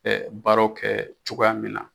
baraw kɛ cogoya min na.